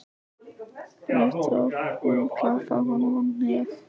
Rétt og hún klappaði honum á hnéð.